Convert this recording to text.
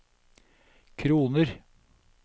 kroner